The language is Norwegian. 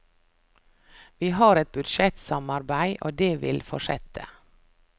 Vi har et budsjettsamarbeid, og det vil fortsette.